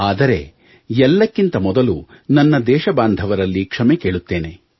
ಆದರೆ ಎಲ್ಲಕ್ಕಿಂತ ಮೊದಲು ದೇಶಬಾಂಧವರಲ್ಲಿ ಕ್ಷಮೆ ಕೇಳುತ್ತೇನೆ